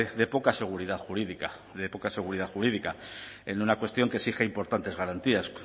de poca seguridad jurídica de poca seguridad jurídica en una cuestión que exige importantes garantías